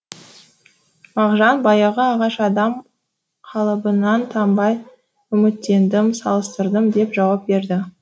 мағжан баяғы ағаш адам қалыбынан танбай үміттендім салыстырдым деп жауап берді